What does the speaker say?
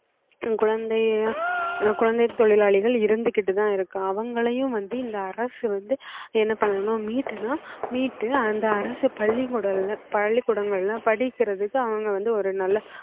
தன் குழந்தைய~ அஹ் குழந்தைத் தொழிலாளிகள் இருந்துகிட்டுதான் அவங்களையும் வந்து இந்த அரசு வந்து என்ன பண்ணனும்னா மீட்டுனா மீட்டு அந்த அரசு பள்ளிக்கூடல்ல~ பள்ளிக்கூடங்கள்ல படிக்கிறதுக்கு அவங்க வந்து ஒரு நல்ல